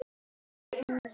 Ef hús skyldi kalla.